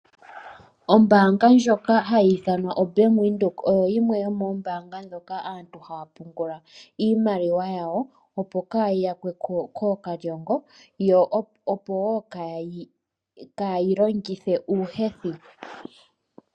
Ombaanga ndjoka hayi ithanwa oBank Windhoek oyo yimwe yomoombaanga dhoka aantu haya pungula iimaliwa yawo, opo kayi yakwe ko kookalyongo , yo opo wo kayeyi longithe uuhethi.